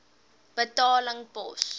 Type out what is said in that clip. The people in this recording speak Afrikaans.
betaling pos